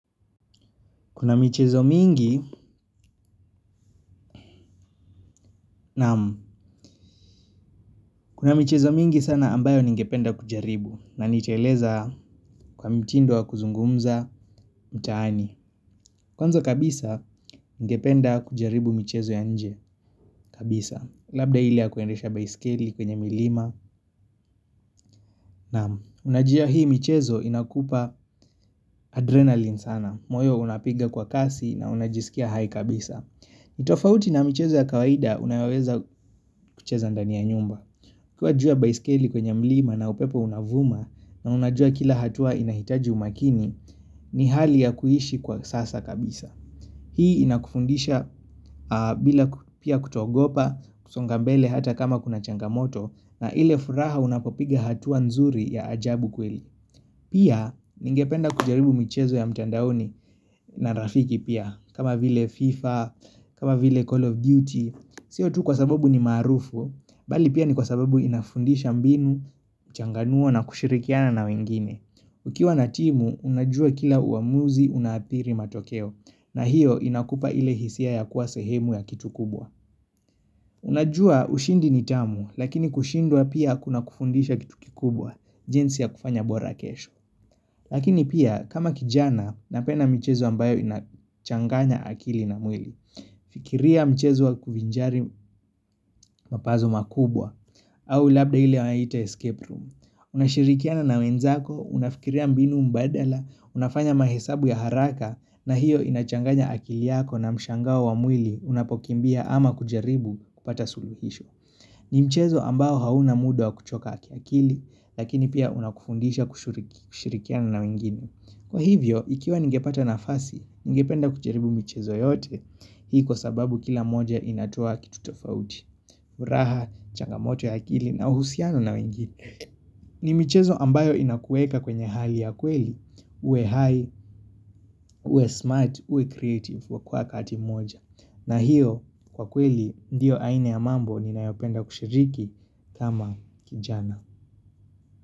Kuna michezo mingi, naam. Kuna michezo mingi sana ambayo ningependa kujaribu na nitaeleza kwa mtindo wa kuzungumza mtaani. Kwanza kabisa, ningependa kujaribu michezo ya nje kabisa. Labda hile ya kuendesha baiskeli kwenye milima, naam. Unajua hii michezo inakupa adrenalin sana. Moyo unapinga kwa kasi na unajisikia hai kabisa. Ni tofauti na mchezo ya kawaida unaweza kucheza ndani ya nyumba uKiwa juu ya baiskeli kwenye mlima na upepo unavuma na unajua kila hatua inahitaji umakini ni hali ya kuhishi kwa sasa kabisa. Hii inakufundisha bila pia kutoogopa kusongambele hata kama kuna changamoto na ile furaha unapopiga hatua nzuri ya ajabu kweli. Pia, ningependa kujaribu michezo ya mtandaoni na rafiki pia, kama vile FIFA, kama vile Call of Duty. Siyo tu kwa sababu ni maarufu, bali pia ni kwa sababu inafundisha mbinu, changanuo na kushirikiana na wengine. Ukiwa na timu, unajua kila uamuzi unathiri matokeo, na hiyo inakupa ile hisia ya kuwa sehemu ya kitu kubwa. Unajua, ushindi ni tamu, lakini kushindwa pia kuna kufundisha kitu kikubwa, jinsi ya kufanya bora kesho. Lakini pia, kama kijana, napenda michezo ambayo inachanganya akili na mwili. Fikiria mchezo wa kuvinjari mapazo makubwa, au labda hile wanahita escape room. Unashirikiana na wenzako, unafikiria mbinu mbadala, unafanya mahesabu ya haraka, na hiyo inachanganya akili yako na mshangao wa mwili, unapokimbia ama kujaribu kupata suluhisho. Ni mchezo ambao hauna muda wa kuchoka akili, lakini pia unakufundisha kushirikiana na wengine. Kwa hivyo, ikiwa ningepata nafasi, ngependa kujaribu michezo yote. Hii kwa sababu kila moja inatoa kitu tofauti. Uraha, changamoto ya akili na uhusiano na wengine. Ni michezo ambayo inakuweka kwenye hali ya kweli. Uwe hai, uwe smart, uwe creative wa kwa wakati moja. Na hiyo, kwa kweli, ndiyo aina ya mambo ninayopenda kushiriki kama kijana.